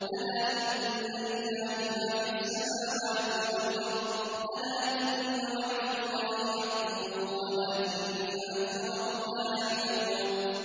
أَلَا إِنَّ لِلَّهِ مَا فِي السَّمَاوَاتِ وَالْأَرْضِ ۗ أَلَا إِنَّ وَعْدَ اللَّهِ حَقٌّ وَلَٰكِنَّ أَكْثَرَهُمْ لَا يَعْلَمُونَ